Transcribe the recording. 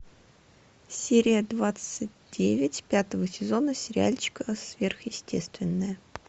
серия двадцать девять пятого сезона сериальчика сверхъестественное